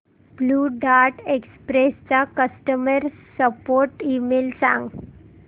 blue Dart Express चा customer support email सांग